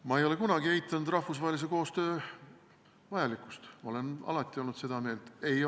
Ma ei ole kunagi eitanud rahvusvahelise koostöö vajalikkust, ma olen alati olnud seda meelt, et seda on vaja.